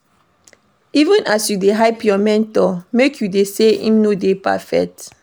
Even as you dey hype your mentor, make you know sey im no dey perfect.